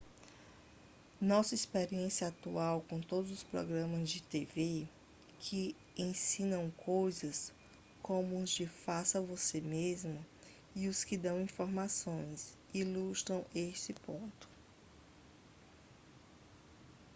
nossa experiência atual com todos os programas de tv que ensinam coisas como os de faça-você-mesmo e os que dão informações ilustram esse ponto